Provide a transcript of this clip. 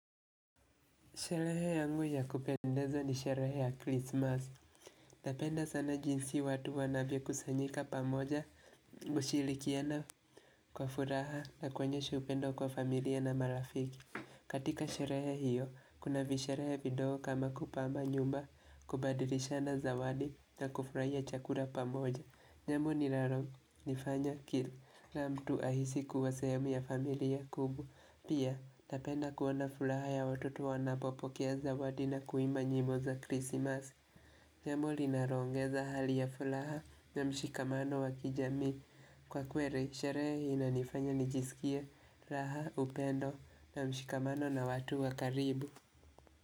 Sherehe yangu ya kupendeza ni sherehe ya Christmas. Napenda sana jinsi watu wanavyo kusanyika pamoja, kushilikiana kwa furaha na kuonyesha upendo kwa familia na marafiki. Katika sherehe hiyo, kuna visherehe vidogo kama kupama nyumba, kubadilisha na zawadi na kufurahia chakura pamoja. Nyamu ni laro, nifanya kilu, la mtu ahisi kuwasayemu ya familia kubu. Pia, napenda kuona fulaha ya watoto wanapopokea zawadi na kuimba nyimbo za krisimas Jambo linaloongeza hali ya fulaha na mshikamano wakijamii Kwa kweri, sherehe inanifanya nijisikie raha upendo na mshikamano na watu wakaribu.